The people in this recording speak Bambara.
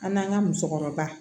An n'an ka musokɔrɔba